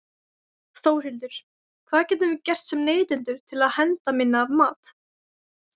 Þórhildur: Hvað getum við gert sem neytendur til að henda minna af mat?